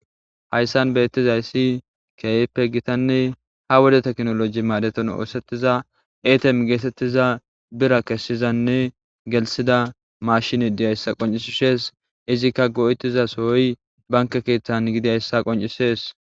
Hayssan bettizayssi kehippe giitanne ha wodde tekkinolojje maadon oththetiza etteme gettetiza biira kessizanne gellisiza mashshiney dizyssa qonccisishe de'ess izika go'izassoy bankke keththa giddidaysa qonccises.